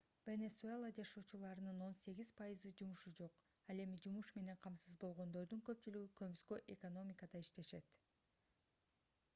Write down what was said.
венесуэла жашоочуларынын 18% жумушу жок ал эми жумуш менен камсыз болгондордун көпчүлүгү көмүскө экономикада иштешет